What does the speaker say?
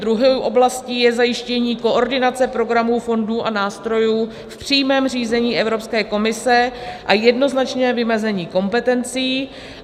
Druhou oblastí je zajištění koordinace programů, fondů a nástrojů, v přímém řízení Evropské komise a jednoznačné vymezení kompetencí.